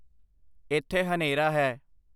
ਇੱਥੇ ਹਨੇਰਾ ਹੈ